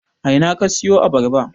A ina ka siyo Abarba?